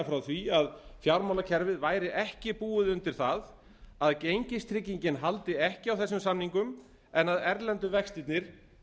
frá því að fjármálakerfið væri ekki búið undir það að gengistryggingin haldi ekki á þessum samningum en að erlendu vextirnir